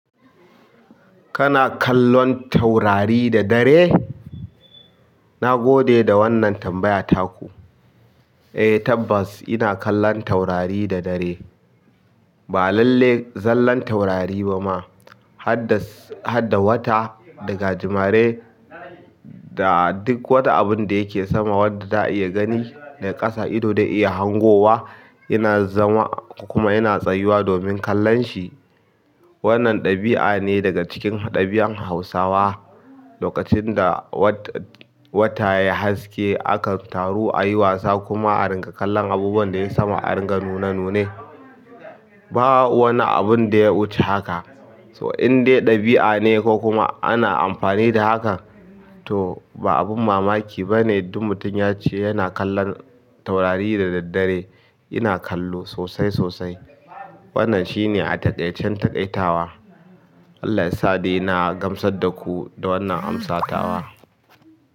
Kana kallon taurari da dare? Na gode da wannan tambaya taku. Eh tabbas ina kallon taurari da dare. Ba lalle zallan taurari ba ma, had da wata da gajimare da duk wata abun da yake sama wanda za a iya gani da ƙasa ido zai iya hangowa yana zama kuma yana tsayuwa domin kallon shi. Wannan ɗabi'a ne daga cikin ɗabi'an Hausawa. Lokacin da wata ya haske, akan taru a yi wasa kuma a ringa kallon abubuwan da yayi sama aringa nune nune. Ba wani abun da ya wuce haka. So in dai ɗabi'a ne ko kuma ana amfani da haka to ba abun mamaki ba ne. Duk mutum ya ce yana kallon taurari da daddare. Ina kallo sosai sosai. Wannan shine a taƙaicen taƙaitawa. Allah ya sade. Na gamsar da ku da wannan amsatawa.